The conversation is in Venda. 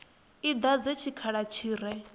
i dadze tshikhala tshi re